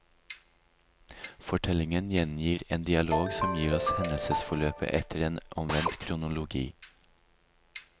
Fortellingen gjengir en dialog som gir oss hendelsesforløpet etter en omvendt kronologi.